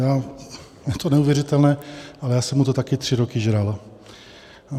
Je to neuvěřitelné, ale já jsem mu to taky tři roky žral.